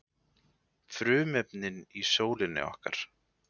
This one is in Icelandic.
Frumefnin í sólinni okkar.